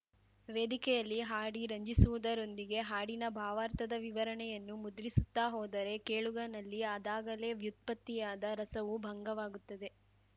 ವೇದಿಕೆಯಲ್ಲಿ ಹಾಡಿ ರಂಜಿಸುವುದರೊಂದಿಗೆ ಹಾಡಿನ ಭಾವಾರ್ಥದ ವಿವರಣೆಯನ್ನು ಮುದ್ರಿಸುತ್ತಾ ಹೋದರೆ ಕೇಳುಗನಲ್ಲಿ ಅದಾಗಲೇ ವ್ಯುತ್ಪತ್ತಿಯಾದ ರಸವು ಭಂಗವಾಗುತ್ತದೆ